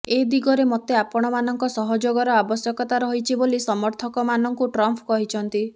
ଏଦିଗରେ ମୋତେ ଆପଣମାନଙ୍କ ସହଯୋଗର ଆବଶ୍ୟକତା ରହିଛି ବୋଲି ସମର୍ଥକମାନଙ୍କୁ ଟ୍ରମ୍ପ୍ କହିଛନ୍ତି